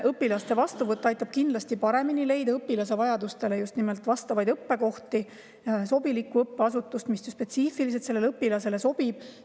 Õpilaste ühtne vastuvõtt aitab kindlasti paremini leida just nimelt õpilase vajadustele vastava õppekoha, sobiliku õppeasutuse, mis spetsiifiliselt just sellele õpilasele sobib.